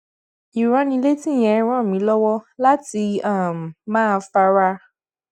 ìránnilétí yẹn ràn mí lówó láti um máa fara